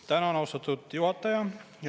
Tänan, austatud juhataja!